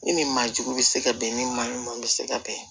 Ni nin maa jugu bɛ se ka bɛn ni maa ɲuman bɛ se ka bɛn